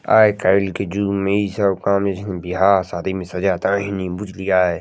आजकल के जुग में ई सब काम बियाह-शादी में सजाता रहनी बुझलियै।